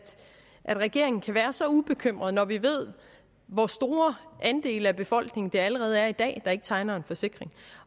regeringen kan være så ubekymret når vi ved hvor store andele af befolkningen der allerede i dag ikke tegner en forsikring